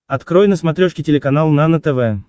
открой на смотрешке телеканал нано тв